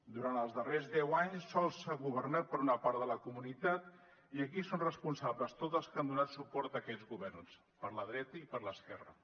durant els darrers deu anys sols s’ha governat per a una part de la comunitat i aquí són responsables tots els que han donat suport a aquests governs per la dreta i per l’esquerra